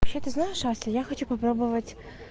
ты знаешь ося я хочу попробовать